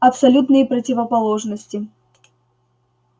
абсолютные противоположности